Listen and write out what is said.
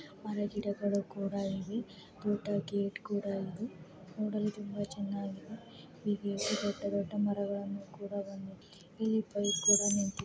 ಮರ ಗಿಡಗಳೂ ಕೂಡ ಇವೆ ದೂಡ್ಡ ಗೇಟು ಕೂಡ ಇದೆ. ನೂಡಲು ತುಂಬಾ ಚೆನ್ನಾಗಿ ಇದೆ. ಇಲ್ಲಿ ದೂಡ್ಡ ದೂಡ್ಡ ಮರಗಳನ್ನು ಕೂಡ ಇದೆ. ಇಲ್ಲಿ ಒಂದು ಬೈಕು ಕೂಡ ನಿಂತಿದೆ.